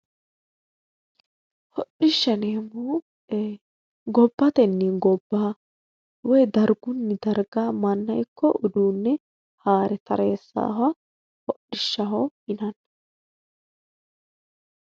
hodhishsha yineemmohu gobbatenni gobba woy dargunni darga manna ikko uduunne haare tareessaha hodhishshaho yinanni